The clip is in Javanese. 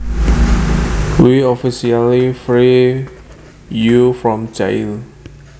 We officially free you from jail